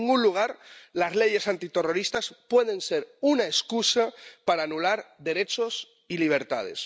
En ningún lugar las leyes antiterroristas pueden ser una excusa para anular derechos y libertades.